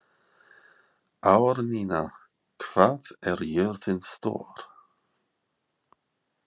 Árnína, hvað er jörðin stór?